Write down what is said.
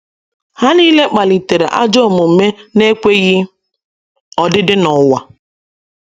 Ha nile kpalitere ajọ omume na - ekweghị odidi n’ụwa.